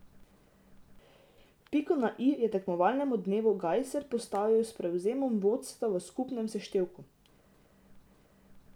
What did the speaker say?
Piko na i je tekmovalnemu dnevu Gajser postavil s prevzemom vodstva v skupnem seštevku.